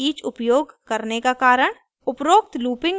for के बजाये each उपयोग करने का कारण